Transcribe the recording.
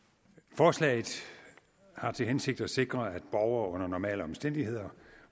forslaget har til hensigt at sikre at borgere under normale omstændigheder